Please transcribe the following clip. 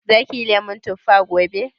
Za kiyi lemun tuffa gobe?